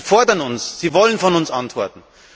Sie fordern uns. Sie wollen von uns Antworten.